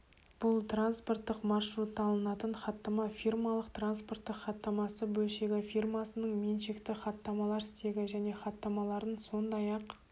бұл транспорттық маршрутталынатын хаттама фирмалық транспорттық хаттамасы бөлшегі фирмасының меншікті хаттамалар стегі және хаттамаларын сондай-ақ